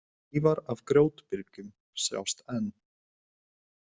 Leifar af grjótbyrgjum sjást enn.